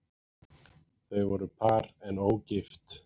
Þau voru par en ógift